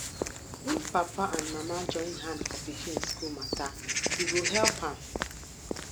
if papa and mama join hand for pikin school matter e go help am